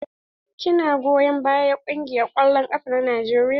Ki na goyon bayan kungiyar kwallon ƙafa na Najeriya?